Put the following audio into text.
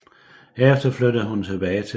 Herefter flyttede hun tilbage til Berlin